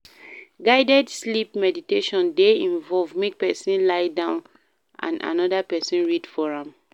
Guided sleep meditation de involve make persin lie down and another persin read for am